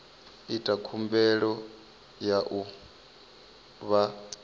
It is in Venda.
ita khumbelo ya u vha